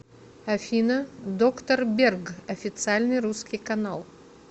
афина доктор берг официальный русский канал